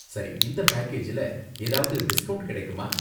சரி. இந்த பேக்கேஜ்ல ஏதாவது டிஸ்கவுன்ட் கிடைக்குமா?